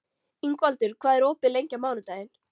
Ingvaldur, hvað er opið lengi á mánudaginn?